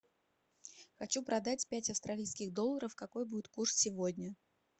хочу продать пять австралийских долларов какой будет курс сегодня